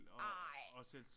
Ej!